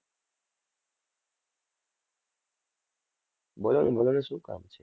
બોલો ને બોલો ને શું કામ છે.